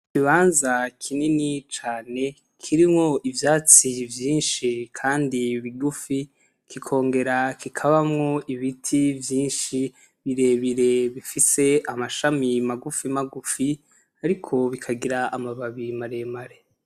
Ikibanza kinini cane kirimwo ivyatsi vyinshi kandi bigufi kikongera kikabamwo ibiti vyinshi birebire bifise amashami magufi magufi ariko bikagira amababi maremare.